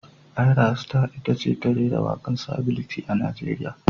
Ayra Star ita ce ta rera waken sability a Najeriya.